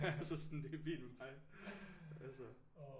Altså sådan det er fint med mig altså